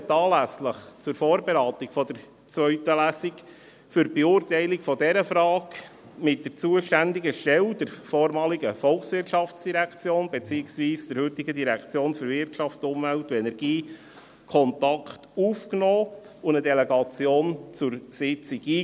Die FiKo nahm anlässlich der Vorberatung der zweiten Lesung für die Beurteilung dieser Frage mit der zuständigen Stelle, der vormaligen VOL, beziehungsweise der heutigen WEU, Kontakt auf und lud eine Delegation zur Sitzung ein.